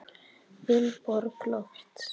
Vilborg Lofts.